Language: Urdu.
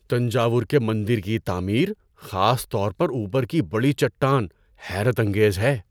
تنجاور کے مندر کی تعمیر، خاص طور پر اوپر کی بڑی چٹان حیرت انگیز ہے۔